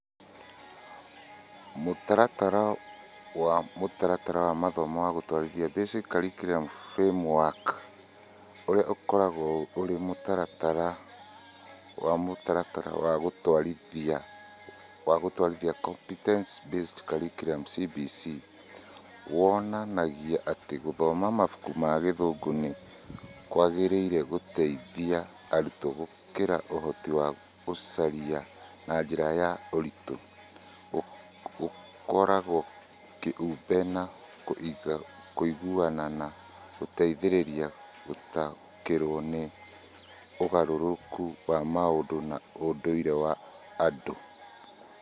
Mũtaratara wa Mũtaratara wa Mathomo wa Gũtũũrithia Basic Curriculum Framework ũrĩa ũkoragwo ũrĩ mũtaratara wa Mũtaratara wa Gũtũũrithia wa Gũtũũrithia Competence-Based Curriculum CBC wonanagia atĩ gũthoma mabuku ma Gĩthũngũ, nĩ kwagĩrĩire gũteithie arutwo, gũkũria ũhoti wa gwĩciria na njĩra ya ũritũ, gũkũra kĩũmbe na kũiguana, na gũteithĩrĩria gũtaũkĩrũo nĩ ũgarũrũku wa ũmũndũ na ũndũire wa andũ.